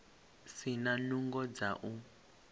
si na nungo dza u